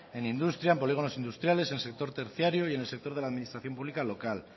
en industria en polígonos industriales en sector terciario y en el sector de la administración pública local